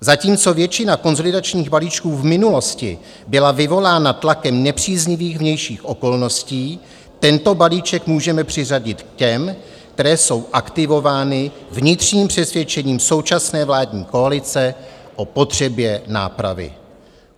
Zatímco většina konsolidačních balíčků v minulosti byla vyvolána tlakem nepříznivých vnějších okolností, tento balíček můžeme přiřadit k těm, které jsou aktivovány vnitřním přesvědčením současné vládní koalice o potřebě nápravy.